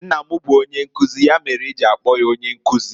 Nna m bu onyenkuzi, ya mere e ji akpo ya Onyenkuzi.